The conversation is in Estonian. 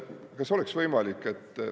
Kas oleks võimalik …